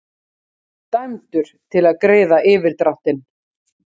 Í upphafi var ekkert nema Ginnungagap en um það segir í Völuspá: Ár var alda,